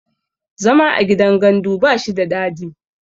zama a gidan gandu ba shi da dadi